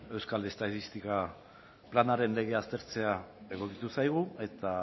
euskal estatistika planaren aztertzea egokitu zaigu eta